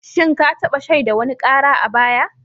Shin ka taba shaida wani kara a baya?